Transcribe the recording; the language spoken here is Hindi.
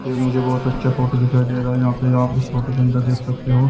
ये मुझे बहुत अच्छा फोटो दिखाई दे रहा हैयहाँ पे आप इस फोटो के अंदर देख सकते हो।